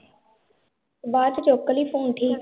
ਬਾਅਦ ਚ ਚੁੱਕਲੀ phone